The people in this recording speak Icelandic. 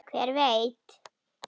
Hver veit?